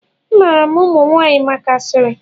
A maara ụmụ nwanyị maka asịrị.